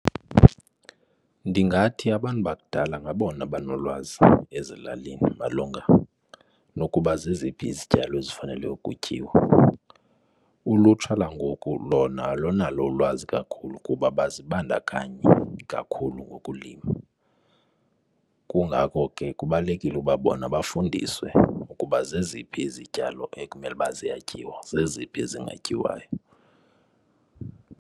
Ndingathi abantu bakudala ngabona banolwazi ezilalini malunga nokuba zeziphi izityalo ezifanelwe ukutyiwa. Ulutsha langoku lona alunalo ulwazi kakhulu kuba abazibandakanyi kakhulu ngokulima. Kungako ke kubalulekile ukuba bona bafundiswe ukuba zeziphi izityalo ekumele ukuba ziyatyiwa zeziphi ezingatyiwayo.